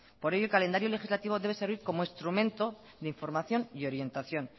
por ello el calendario legislativo debe servir como instrumento de información y orientación